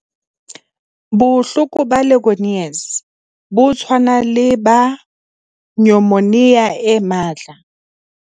Bohloko ba Legionnaires bo tshwana le ba nyomonia e matla.